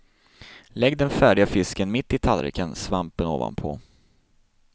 Lägg den färdiga fisken mitt i tallriken, svampen ovanpå.